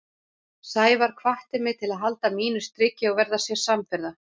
Sævar hvatti mig til að halda mínu striki og verða sér samferða.